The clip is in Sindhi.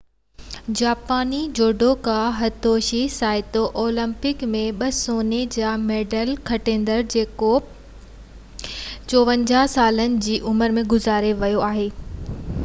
جاپاني جوڊوڪا هتوشي سائتو اولمپڪ ۾ ٻہ سوني جا ميڊل کٽيندڙ جيڪو 54 سالن جي عمر ۾ گذاري ويو آهي